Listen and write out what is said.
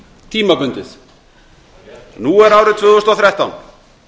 tímabundið nú er árið tvö þúsund og þrettán